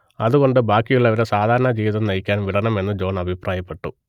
അതുകൊണ്ട് ബാക്കിയുള്ളവരെ സാധാരണജീവിതം നയിക്കാൻ വിടണമെന്ന് ജോൺ അഭിപ്രായപ്പെട്ടു